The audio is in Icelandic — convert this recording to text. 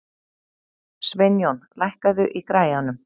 Sveinjón, lækkaðu í græjunum.